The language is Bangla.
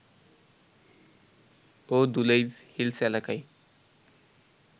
ও দুলেইব হিলস এলাকায়